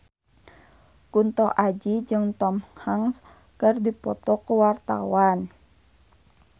Kunto Aji jeung Tom Hanks keur dipoto ku wartawan